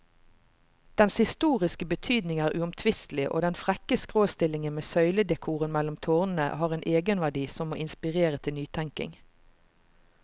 Dens historiske betydning er uomtvistelig, og den frekke skråstillingen med søyledekoren mellom tårnene har en egenverdi som må inspirere til nytenkning.